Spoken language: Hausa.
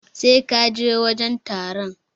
Sai ka je wajen taron.